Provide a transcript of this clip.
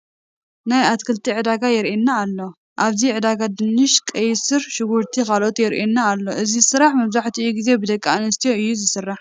ናይ ኣትክልቲ ዕዳጋ ይርአየና ኣሎ፡፡ ኣብዚ ዕዳጋ ድንሽ፣ ቀይሕ ሱር፣ ሽጉርትን ካልኦትን ይርአዩ ኣለዉ እዚ ስራሕ መብዛሕትኡ ግዜ ብደቂ ኣንስትዮ እዩ ዝስራሕ፡፡፡